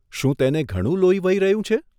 શું તેને ઘણું લોહી વહી રહ્યું છે?